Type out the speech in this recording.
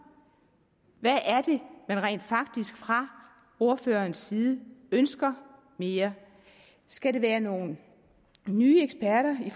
hvad er det man rent faktisk fra ordførerens side ønsker mere skal det være nogle nye eksperter i